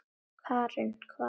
Karen: hvaða guði?